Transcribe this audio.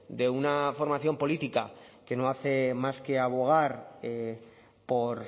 de una formación política que no hace más que abogar por